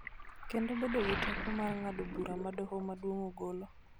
kendo bedo gi teko mar ng�ado bura ma Doho Maduong� ogolo.